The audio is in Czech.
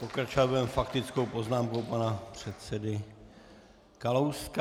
Pokračovat budeme faktickou poznámkou pana předsedy Kalouska.